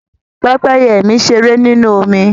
Pẹ́pẹ́yẹ mi ṣeré nínú omi